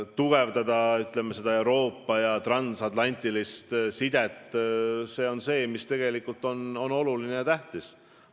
See annab hea võimaluse tugevdada Euroopa transatlantilist sidet, mis tegelikult on väga tähtis.